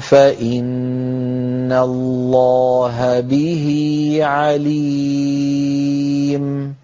فَإِنَّ اللَّهَ بِهِ عَلِيمٌ